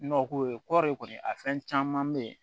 Nɔgɔ ko ye kɔri kɔni a fɛn caman bɛ ye